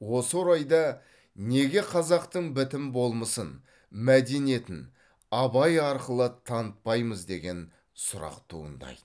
осы орайда неге қазақтың бітім болмысын мәдениетін абай арқылы танытпаймыз деген сұрақ туындайды